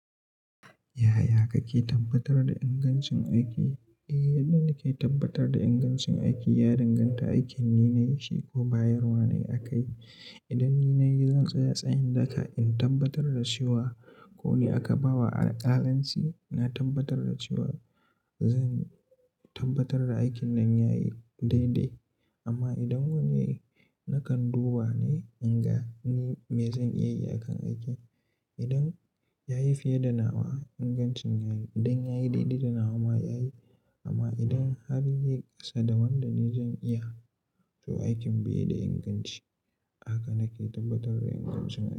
Yaya kake tabbatar da ingancin aiki? Eh, yadda nake tabbatar da ingancin aiki, ya danganta aikin ni na yi shi ko bayarwa nayi aka yi. Idan ni na yi, zan tsaya tsayin daka in tabbatar da cewa ko ni aka ba wa alƙalanci. Na tabbatar da cewa zan tabbatar da aikin nan ya yi daidai. Amma idan wani na kan duba ne, in ga ni me zan iya yi a kan aikin. Idan ya yi fiye da nawa ingancin ya yi. Idan ya yi daidai da nawa ma ya yi. Amma idan har yai ƙasa da wanda ni zan iya, to aikin bai da inganci. Haka nake tabbatar da ingancin aiki.